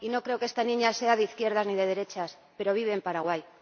Y no creo que esta niña sea de izquierdas ni de derechas, pero vive en Paraguay